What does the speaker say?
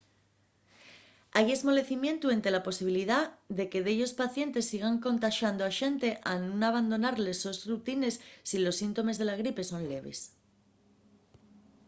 hai esmolecimientu énte la posibilidá de que dellos pacientes sigan contaxando a xente al nun abandonar les sos rutines si los síntomes de la gripe son leves